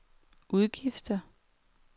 udgifter